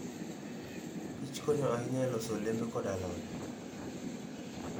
Kich konyo ahinya e loso olembe koda alode.